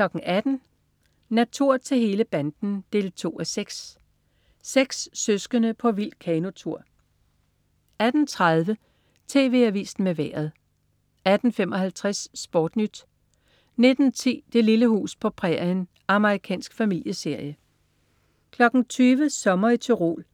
18.00 Natur til hele banden 2:6. Seks søskende på vild kanotur 18.30 TV Avisen med Vejret 18.55 SportNyt 19.10 Det lille hus på prærien. Amerikansk familieserie 20.00 Sommer i Tyrol.